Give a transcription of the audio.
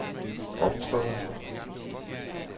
optræder